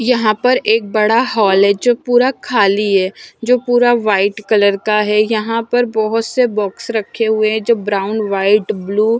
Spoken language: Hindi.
यहां पर एक बड़ा हाल है जो पूरा खाली है जो पूरा वाइट कलर का है यहां पर बहुत से बॉक्स रखे हुए हैं जो ब्राउन व्हाइट ब्लू --